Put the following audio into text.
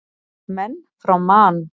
Menn frá Man.